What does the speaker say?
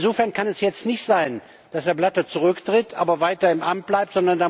Insofern kann es jetzt nicht sein, dass Herr Blatter zurücktritt, aber weiter im Amt bleibt.